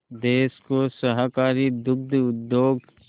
देश को सहकारी दुग्ध उद्योग